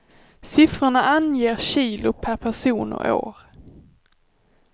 Siffrorna anger kilo per person och år.